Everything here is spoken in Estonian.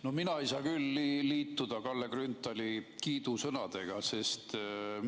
No mina ei saa küll liituda Kalle Grünthali kiidusõnadega.